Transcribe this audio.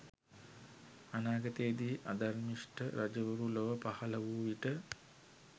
අනාගතයේදී අධර්මිෂ්ට රජවරු ලොව පහල වූ විට